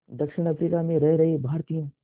दक्षिण अफ्रीका में रह रहे भारतीयों